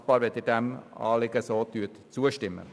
Ich danke Ihnen, wenn Sie dem Anliegen zustimmen.